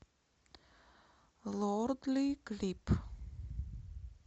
лордли клип